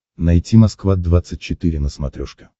найти москва двадцать четыре на смотрешке